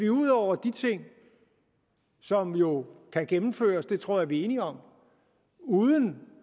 ud over de ting som jo kan gennemføres det tror jeg vi er enige om uden